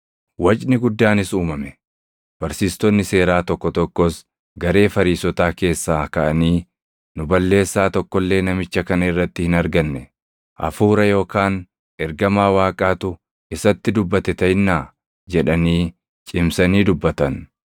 Wacni guddaanis uumame; barsiistonni seeraa tokko tokkos garee Fariisotaa keessaa kaʼanii, “Nu balleessaa tokko illee namicha kana irratti hin arganne; Hafuura yookaan ergamaa Waaqaatu isatti dubbate taʼinnaa?” jedhanii cimsanii dubbatan.